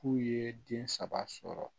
K'u ye den saba sɔrɔ